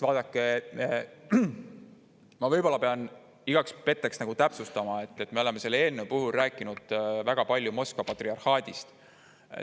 Vaadake, ma võib-olla pean igaks petteks täpsustama, et me oleme selle eelnõu puhul rääkinud väga palju Moskva patriarhaadist.